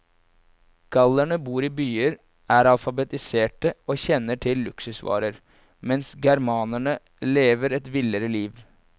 Gallerne bor i byer, er alfabetiserte og kjenner til luksusvarer, mens germanerne lever et villere liv.